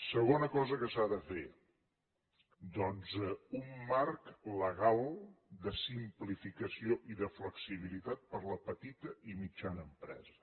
segona cosa que s’ha de fer doncs un marc legal de simplificació i de flexibilitat per a la petita i mitjana empresa